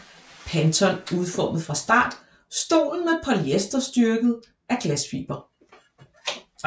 Panton udformede fra start stolen med polyester styrket af glasfiber